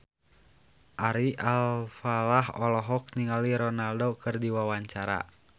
Ari Alfalah olohok ningali Ronaldo keur diwawancara